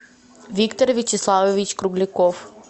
виктор вячеславович кругляков